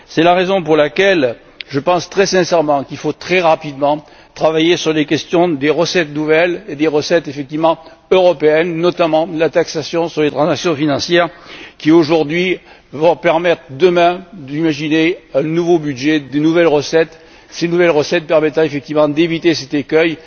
C'est la raison pour laquelle je pense très sincèrement qu'il faut très rapidement travailler sur les questions des recettes nouvelles et des recettes, effectivement européennes notamment la taxation sur les transactions financières qui permettront, demain, d'imaginer un nouveau budget, de nouvelles recettes, ces dernières permettant effectivement d'éviter cet écueil.